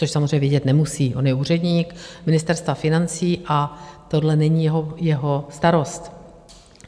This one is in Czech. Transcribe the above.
Což samozřejmě vědět nemusí, on je úředník Ministerstva financí a tohle není jeho starost.